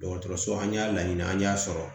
Dɔgɔtɔrɔso an y'a laɲini an y'a sɔrɔ